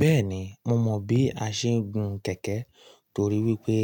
Bẹ́ẹ̀ni, mo mọ bí a ṣe ń gun kẹ̀kẹ́ torí wípé